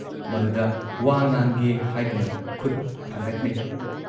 ꯃꯗꯨꯗ ꯋꯥ ꯉꯥꯡꯒꯦ ꯍꯥꯏꯗꯨꯅ ꯈꯨꯠ ꯊꯥꯡꯒꯠꯅꯩ ꯫